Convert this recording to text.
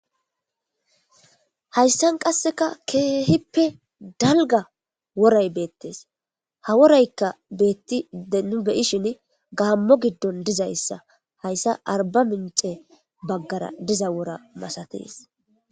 Haysan qaseka kehippe dalga woray betes ha worayka betide nu be'ishin gamo gidon dizaysa hayssa arbaminc'e bagara diza wora masates.